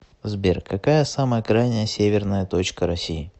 сбер какая самая крайняя северная точка россии